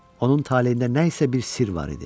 Onun taleyində nə isə bir sirr var idi.